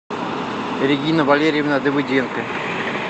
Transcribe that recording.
регина валерьевна давыденко